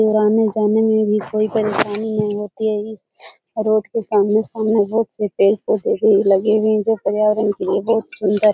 और आने-जाने मे भी कोई परेशानी नही होती है इस और रोड पे आमने-सामने बहुत से पेड़-पौधे लगे हुए है जो पर्यावरण के लिए बहुत ही सुन्दर --